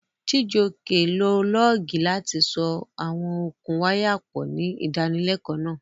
Chijioke lo lọ́ọ̀gì láti so àwọn okùn wáyà pọ̀ ní ìdánilẹ́kọ̀ọ́ náà.